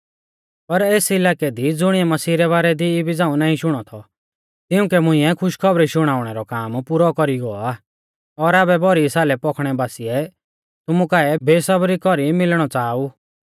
पर एस इलाकै दी ज़ुणीऐ मसीह रै बारै दी इबी झ़ाऊं नाईं शुणौ थौ तिउंकै मुंइऐ खुशीखौबरी शुणाउणै रौ काम पुरौ कौरी गौ आ और आबै भौरी सालै पौखणै बासीऐ तुमु काऐ बेसबरी कौरी मिलणौ च़ाहा ऊ